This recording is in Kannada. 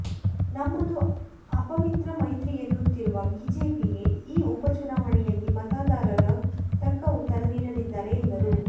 ನಮ್ಮದು ಅಪವಿತ್ರ ಮೈತ್ರಿ ಎನ್ನುತ್ತಿರುವ ಬಿಜೆಪಿಗೆ ಈ ಉಪ ಚುನಾವಣೆಯಲ್ಲಿ ಮತದಾರರು ತಕ್ಕ ಉತ್ತರ ನೀಡಲಿದ್ದಾರೆ ಎಂದರು